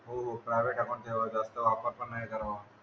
हो हो private account ठेवा. जास्त वापर पण नाही करावा.